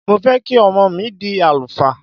Mo fẹ́ kí ọmọ mi dí àlùfáà.